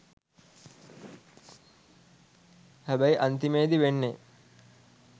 හැබැයි අන්තිමේදී වෙන්නේ